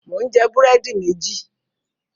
Mò ń jẹ búrẹ́dì méjì.